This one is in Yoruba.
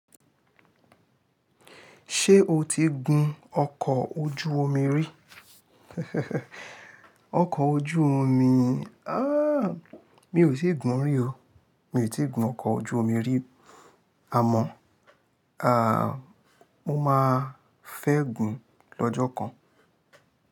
Ṣé o ti gun ọkọ̀ ojú omi rí? Ọkọ̀ ojú omi, ah mi ò tí ì gun rí o. Mi ò tí ì gun ọkọ̀ ojú omi rí. Àmọ́, mo máa fẹ́ gun lọ́jọ́ kan.